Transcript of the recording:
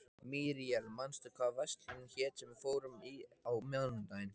Míríel, manstu hvað verslunin hét sem við fórum í á mánudaginn?